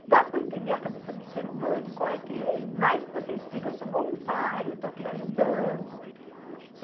Não dá para entender a cabeça do ser humano, qual é que é. E mais que você explica, eu sou voluntária, eu estou aqui ajudando.